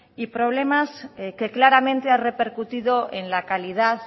y problemas que claramente han repercutido en la calidad